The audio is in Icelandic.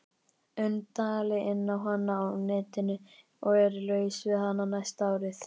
und dali inná hana á netinu og er laus við hana næsta árið.